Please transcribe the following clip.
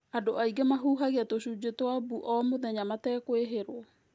Andũ aingĩ nĩ mahuhagia tũcunjĩ twa mbuu o mũthenya matekũĩhĩrwo.